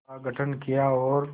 का गठन किया और